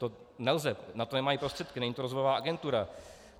To nelze, na to nemají prostředky, není to rozvojová agentura.